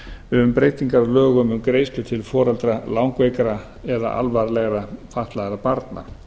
um breytingar á lögum um greiðslur til foreldra langveikra eða alvarlega fatlaðra barna